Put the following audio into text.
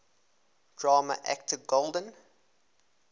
drama actor golden